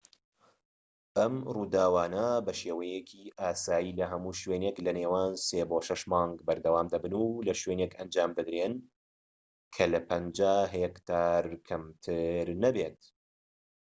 ئەم ڕووداوانە بە شێوەیەکی ئاسایی لە هەموو شوێنێک لە نێوان سێ بۆ شەش مانگ بەردەوام دەبن و لە شوێنێک ئەنجام دەدرێن کە لە 50 هێکتار کەمتر نەبێت